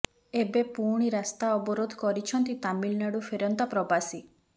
ଏବେ ପୁଣି ରାସ୍ତା ଅବରୋଧ କରିଛନ୍ତି ତାମିଲନାଡ଼ୁ ଫେରନ୍ତା ପ୍ରବାସୀ